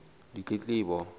ditletlebo